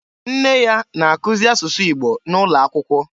Nne ya na-akuzi asụsụ Igbo N'ụlọakwụkwọ.